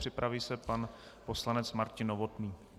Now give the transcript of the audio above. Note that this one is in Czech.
Připraví se pan poslanec Martin Novotný.